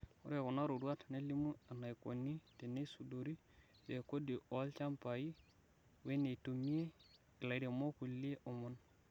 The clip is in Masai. Ore kunaroruat neilimu enaikoni teneisudori rekodi olchambai wenetumie ilairemok kulie omon.